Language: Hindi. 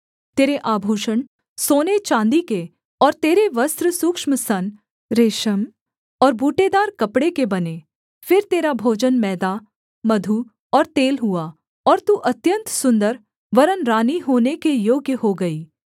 तेरे आभूषण सोने चाँदी के और तेरे वस्त्र सूक्ष्म सन रेशम और बूटेदार कपड़े के बने फिर तेरा भोजन मैदा मधु और तेल हुआ और तू अत्यन्त सुन्दर वरन् रानी होने के योग्य हो गई